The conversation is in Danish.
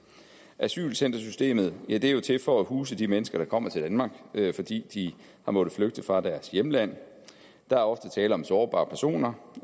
asylcentersystemet ja det er jo til for at huse de mennesker der kommer til danmark fordi de har måttet flygte fra deres hjemland der er ofte tale om sårbare personer